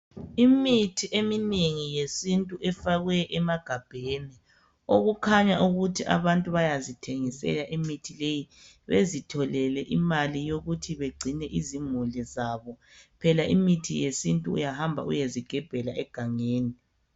Imithi eminengi yesintu efakwe emagabheni okukhanya ukuthi abantu bayazithengisela imithi leyo bezitholele imali yokuthi bagcine izimuli zabo. Phela imithi yesintu uyahamba uyezigebhela egangeni.